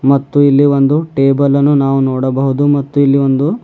ಮತ್ತು ಇಲ್ಲಿ ಒಂದು ಟೇಬಲ್ ಅನ್ನು ನಾವು ನೋಡಬಹುದು ಮತ್ತು ಇಲ್ಲಿ ಒಂದು--